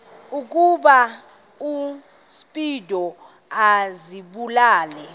ukuba uspido azibulale